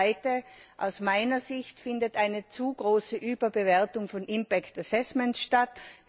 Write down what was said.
Das Zweite Aus meiner Sicht findet eine zu starke Überbewertung von impact assessments statt.